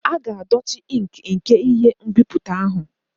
A ga-edochi ink nke ihe nbipute ahụ.